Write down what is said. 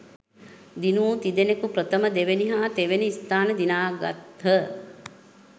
දිනූ තිදෙනෙකු ප්‍රථම දෙවැනි හා තෙවැනි ස්ථාන දිනාගත්හ.